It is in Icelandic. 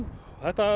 og þetta